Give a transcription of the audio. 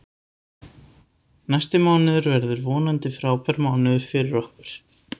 Næsti mánuður verður vonandi frábær mánuður fyrir okkur.